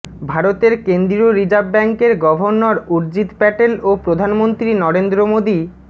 ভারতের কেন্দ্রীয় রিজার্ভ ব্যাংকের গভর্নর উর্জিত প্যাটেল ও প্রধানমন্ত্রী নরেন্দ্র মোদি